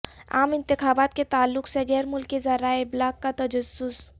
عام انتخابات کے تعلق سے غیر ملکی ذرائع ابلاغ کا تجسس